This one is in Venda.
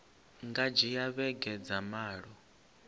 nga dzhia vhege dza malo